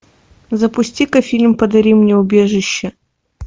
запусти ка фильм подари мне убежище